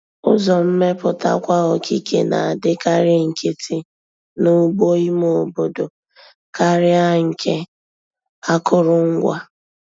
Ụzọ mmeputakwa okike na-adịkarị nkịtị n'ugbo ime obodo karịa nke akụrụngwa.